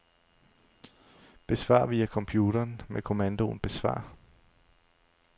Besvar via computeren med kommandoen besvar.